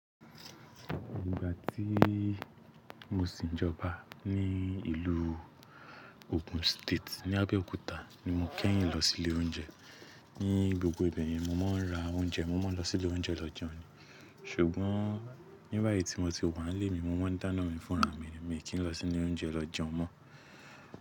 Nígbà tí mo sì ń jọba ní ìlú Ogun State ni Abẹ́òkúta ni mo kẹ́yìn lọ sí ilé oúnjẹ. Ní gbogbo ibẹ̀ yẹn mo máa ń ra oúnjẹ, mo máa ń lọ sí ilé oúnjẹ lọ jẹun, ṣùgbọ́n níbẹ̀ yí tí mo ti wà nílé mi, mo máa ń dáná mi fúnra mi, mi kì lọ sí ile oúnjẹ lọ jẹun mọ́